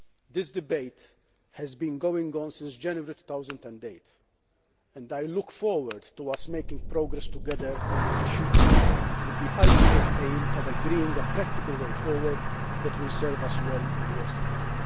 This debate has been going on since January 2008 and I look forward to us making progress together on this issue, with the ultimate aim of agreeing on a practical way forward which will serve us well in the years to come.